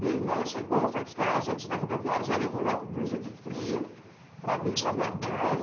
Meu irmão chegou, foi buscar a gente na rodoviária, já levou logo blusa de frio para mim e para minha mãe.